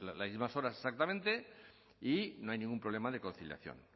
las mismas horas exactamente y no hay ningún problema de conciliación